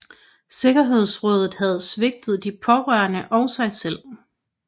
Sikkerhedsrådet havde svigtet de pårørende og sig selv